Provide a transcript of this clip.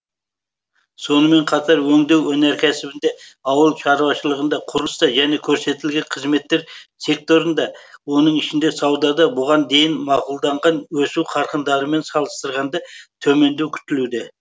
сонымен қатар өңдеу өнеркәсібінде ауыл шаруашылығында құрылыста және көрсетілетін қызметтер секторында оның ішінде саудада бұған дейін мақұлданған өсу қарқындарымен салыстырғанда төмендеу күтілуде